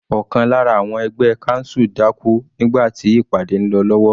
Ọ̀kan lára àwọn ẹgbẹ́ council dákú nígbà tí ìpàdé ń lọ lọ́wọ́.